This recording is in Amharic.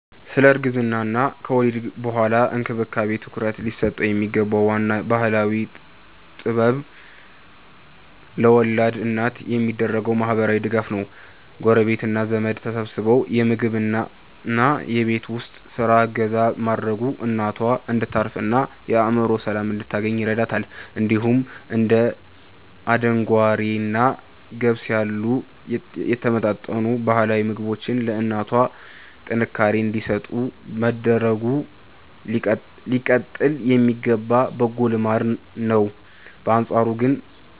ስለ እርግዝናና ከወሊድ በኋላ እንክብካቤ ትኩረት ሊሰጠው የሚገባው ዋናው ባህላዊ ጥበብ ለወላድ እናት የሚደረገው ማህበራዊ ድጋፍ ነው። ጎረቤትና ዘመድ ተሰባስቦ የምግብና የቤት ውስጥ ስራ እገዛ ማድረጉ እናቷ እንድታርፍና የአእምሮ ሰላም እንድታገኝ ይረዳታል። እንዲሁም እንደ አደንጓሬና ገብስ ያሉ የተመጣጠኑ ባህላዊ ምግቦች ለእናቷ ጥንካሬ እንዲሰጡ መደረጉ ሊቀጥል የሚገባ በጎ ልማድ ነው። በአንጻሩ ግን